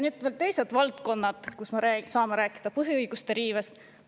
Nüüd veel teised valdkonnad, kus me saame rääkida põhiõiguste riivest.